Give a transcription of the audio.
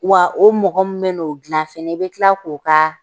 Wa o mɔgɔ min bɛ n'o gilan fɛnɛ i bɛ kila k'o ka